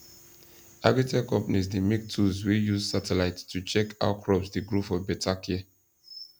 agritech companies dey make tools wey use satellite to check how crops dey grow for better care